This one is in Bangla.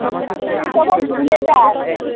তুই তো আবার ভুলে যাস